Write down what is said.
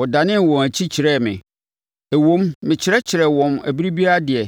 Wɔdanee wɔn akyi kyerɛɛ me; ɛwom, mekyerɛkyerɛ wɔn ɛberɛ biara deɛ,